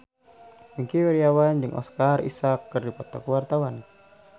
Wingky Wiryawan jeung Oscar Isaac keur dipoto ku wartawan